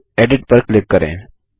और फिर एडिट पर क्लिक करें